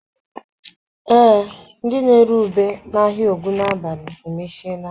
Ee, ndị na-ere ube n'ahịa Ogunabali emechiela.